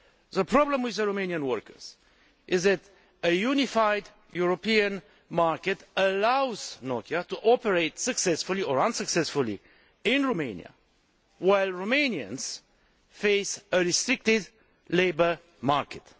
The problem for Romanian workers is that a unified European market allows Nokia to operate successfully or unsuccessfully in Romania, while Romanians face a restricted labour market.